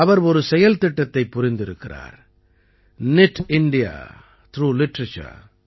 அவர் ஒரு செயல்திட்டத்தை புரிந்திருக்கிறார் நித் இந்தியா த்ராக் லிட்டரேச்சர்